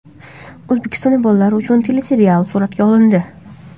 O‘zbekistonda bolalar uchun teleserial suratga olindi.